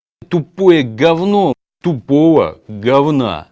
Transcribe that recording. тупое говно тупого говна